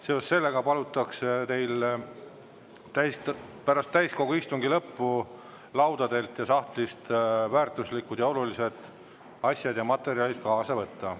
Seoses sellega palutakse teil pärast täiskogu istungi lõppu laudadelt ja sahtlist väärtuslikud ning olulised asjad ja materjalid kaasa võtta.